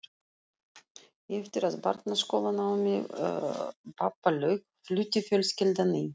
Eftir að barnaskólanámi pabba lauk flutti fjölskyldan í